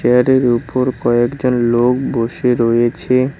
উপর কয়েকজন লোক বসে রয়েছে।